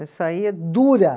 Eu saía dura.